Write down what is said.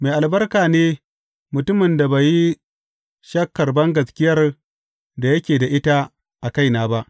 Mai albarka ne mutumin da bai yi shakkar bangaskiyar da yake da ita a kaina ba.